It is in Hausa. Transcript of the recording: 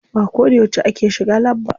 Ba ko da yauce ake shiga lab ba.